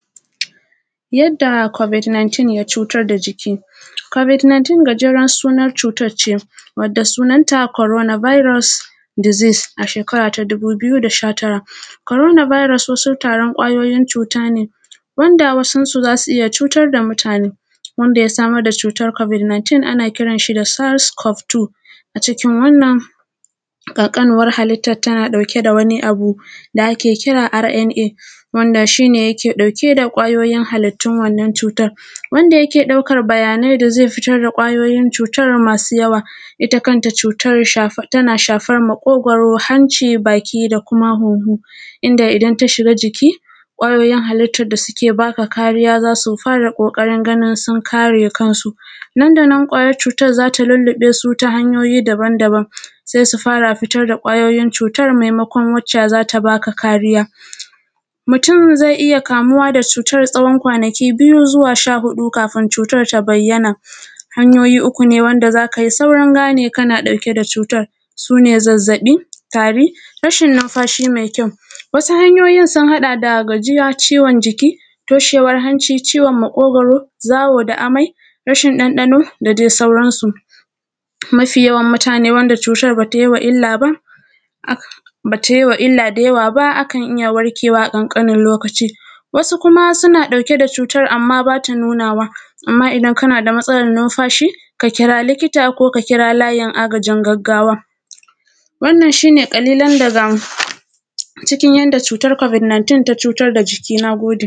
Yadda ‘covid 19’ ya cutar da jiki. ‘Covid 19’ gajeren sunan cutar ce, wadda sunanta ‘corona virus deasis’, a shekara ta dubu biyu da sha tara. Korona bairos wasu taron ƙwayoyin cuta ne wanda wasunsu za su iya cutar da mutane wanda ya samar da cutar ‘covid 19’ ana kiran shi da ‘saz cov 2’. A cikin wannan ƙanƙanuwar halittan tana ɗauke da wani abu da ake kira ‘RNA’ wanda shi ne yake ɗauke da ƙwayoyin halittun wannan cutar. Wanda yake ɗaukar bayanai da ze fitar da ƙwayoyin cutar masu yawa, ita kanta cutar shaf; tana shafar maƙogoro, hanci, baki da kuma hunhu. Inda, idan ta shiga jiki, ƙwayoyin halittad da suke ba ka kariya za su fara ƙoƙarin ganin sun kare kansu. Nandanan ƙwayar cutar za ta lilliƃe su ta hanyoyi dabandaban, se su fara fitar da ƙwayoyin cutar, memakon wacca za ta ba ka kariya. Mutun ze iya kamuwa da cutar tsawon kwanaki biyu zuwa sha huɗu ka fin cutar ta bayyana. Hanyoyi uku ne wanda za ka yi saurin gane kana ɗauke da cutar, su ne: zazzaƃi, tari, rashin nunfashi me kyau. Wasu hanyoyin sun haɗa da gajiya, ciwon jiki, toshewar hanci, ciwon maƙogoro, zawo da amai, rashin ɗanɗano, da de sauran su. Mafi yawan mutane wanda cutar ba ta yi wa ill aba, ak; ba ta yi wa illa da yawa ba, akan iya warkewa ƙanƙanin lokaci. Wasu kuma suna ɗauke da cutar amma ba ta nunawa, amma idan kana da matsalar nunfashi, ka kira likita ko ka kira layin agajin gaggawa. Wannan, shi ne ƙalilan daga, cikin yanda cutar ‘covid 19’ ta cutar da jiki, na gode.